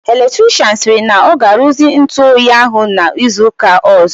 Electrichịanụ sịrị na ọ ga-aruzi ntụ oyi ahụ n'izu ụka ọzọ.